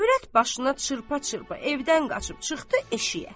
Övrət başına çırpa-çırpa evdən qaçıb çıxdı eşiyə.